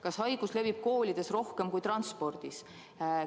Kas haigus levib koolides rohkem kui transpordis?